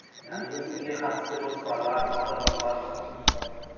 яғни өзіңізге қатысты жоспарлар бағдарламалар құрастыруыңызға болады